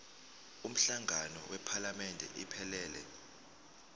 umhlangano wephalamende iphelele